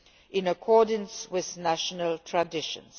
in accordance with national traditions.